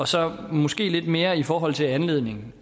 så er der måske lidt mere i forhold til anledningen